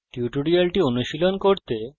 এই tutorial অনুশীলন করতে